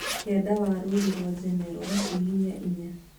Kĩanda wa rũri rwa general hihinya inya